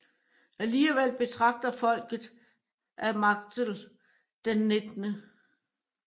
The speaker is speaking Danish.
Alligvel betragter folket af Marktl den 19